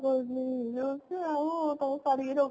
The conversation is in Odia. ବେଶୀ ଆମ